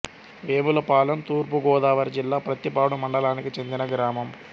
వేములపాలెం తూర్పు గోదావరి జిల్లా ప్రత్తిపాడు మండలానికి చెందిన గ్రామం